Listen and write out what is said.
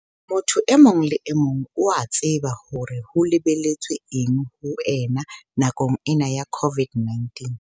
Motho e mong le emong o a tseba hore ho lebelletswe eng ho ena nakong ena ya COVID-19.